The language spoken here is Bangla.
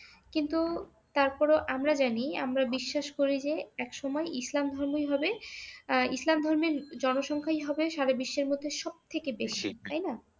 কিন্তু তারপর ও আমরা জানি আমরা বিশ্বাস করি যে একসময় ইসলাম ধর্মই হবে আহ ইসলাম ধর্মের জনসংখ্যাই হবে সারা বিশ্বের মধ্যে সব থেকে বেশি তাইনা